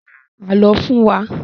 Pa àálọ́ fún wa!